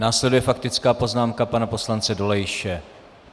Následuje faktická poznámka pana poslance Dolejše.